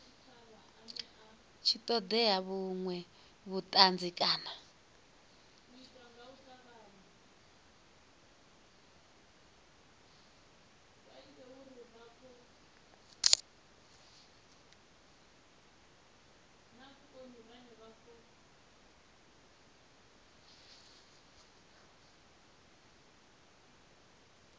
tshi ṱoḓea vhuṅwe vhuṱanzi kana